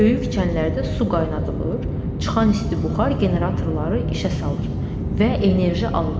Böyük çənlərdə su qaynadılır, çıxan isti buxar generatorları işə salır və enerji alınır.